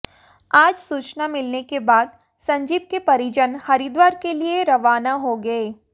आज सूचना मिलने के बाद संजीव के परिजन हरिद्वार के लिए रवाना हो गए